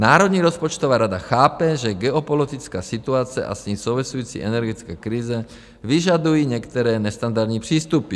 Národní rozpočtová rada chápe, že geopolitická situace a s ní související energetická krize vyžadují některé nestandardní přístupy.